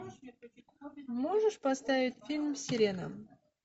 можешь поставить фильм сирена